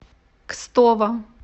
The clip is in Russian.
кстово